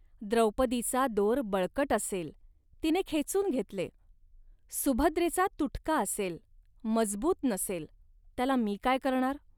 द्रौपदीचा दोर बळकट असेल, तिने खेचून घेतले. सुभद्रेचा तुटका असेल, मजबूत नसेल, त्याला मी काय करणार